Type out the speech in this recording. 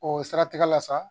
O siratigɛ la sa